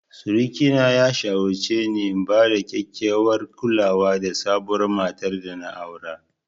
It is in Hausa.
Suriki na ya shawarce ni na bada kyakkyawar kulawa da sabuwar matar dana aura.